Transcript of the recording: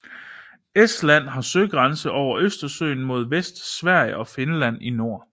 Estland har søgrænser over Østersøen mod vest med Sverige og Finland i nord